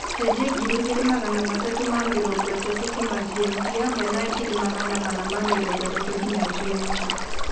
cenjĩa ngiri ĩgĩrĩ magana matatu ma mĩrongo itatu kũma g.m.t hamwe na magana mana ma mĩrongo itatu nginya g.m.t